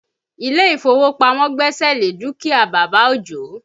Ilé ìfowópamọ́ gbẹ́sẹ̀ lé dúkìá bàbá Ojo